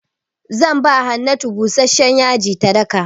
Zan ba Hannatu busashshen yaji ta daka.